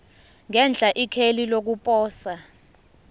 ngenhla ikheli lokuposa